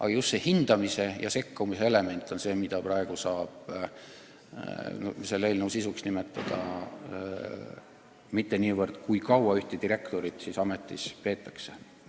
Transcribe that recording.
Aga selle eelnõu sisu on just hindamise ja sekkumise element, mitte niivõrd see, kui kaua ühte direktorit ametis peetakse.